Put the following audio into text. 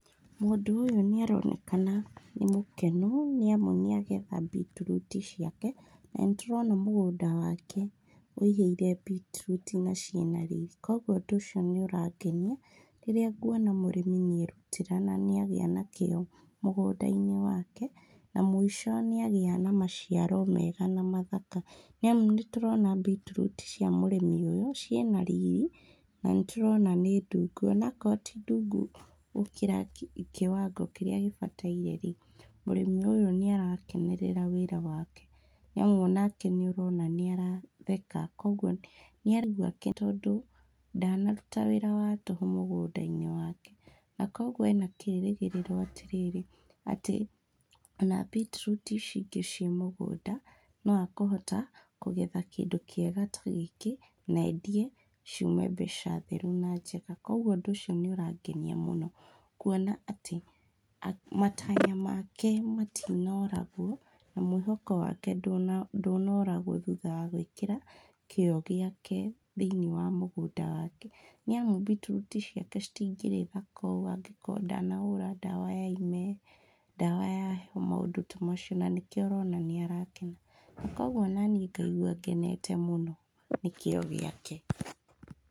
Mũndũ ũyũ nĩ aronekana nĩ mũkenu nĩ amu nĩ agetha mbitiruti ciake. Na nĩ tũrona mũgũnda wake wĩihũire mbitiruti na ciĩna riri, koguo ũndũ úcio nĩ ũrangenia rĩrĩa nguona mũrĩmi nĩ erutĩra na nĩ agĩa na kĩo mũgũnda-inĩ wake, na mũico nĩ agĩa na maciaro mega na mathaka. Nĩ amu nĩ tũrona mbitiruti cia mũrĩmi ũyũ ciĩna riri na nĩtũrona nĩ ndungu, ona akorwo ti ndungu gũkĩra kĩwango kĩrĩa gĩbataire-rĩ, mũrĩmi ũyũ nĩ arakenerera wĩra wake. Nĩ amu onake nĩ ũrona nĩ aratheka, koguo nĩ araigua tondũ ndanaruta wĩra wa tũhũ mũgũnda-inĩ wake. Na koguo ena kĩrĩgĩrĩro atĩrĩrĩ, atĩ ona mbiti ruti icio ingĩ ciĩ mũgũnda, no akũhota kũgetha kĩndũ kĩega ta gĩkĩ na endia ciume mbeca theru na njega. Koguo ũndũ ucio nĩ ũrangenia mũno kuona atĩ matanya make matinaũragwo, na mwĩhoko wake ndũnoragwo thutha wa gwĩkĩra kĩo gĩake thĩinĩ wa mũgũnda wake. Nĩ amu mbitiruti ciake citingĩrĩ thaka ũũ angĩkorwo ndanahũra ndawa ya ime, ndawa ya heho, maũndũ ta macio, na nĩkĩo ũrona nĩ arakena. Koguo onaniĩ ngaigua ngenete mũno nĩ kĩo gĩkae.